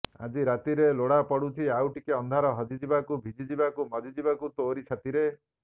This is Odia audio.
ଆଜି ରାତିରେ ଲୋଡ଼ାପଡ଼ୁଛି ଆଉଟିକେ ଅନ୍ଧାର ହଜିଯିବାକୁ ଭିଜିଯିବାକୁ ମଜ୍ଜିଯିବାକୁ ତୋରି ଛାତିରେ